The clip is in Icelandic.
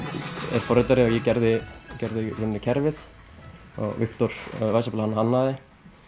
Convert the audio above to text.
er forritari og ég gerði gerði í rauninni kerfið og Viktor Weisshappel hannaði